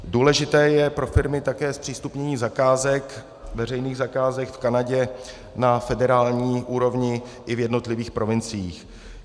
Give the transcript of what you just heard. Důležité je pro firmy také zpřístupnění zakázek, veřejných zakázek v Kanadě na federální úrovni i v jednotlivých provinciích.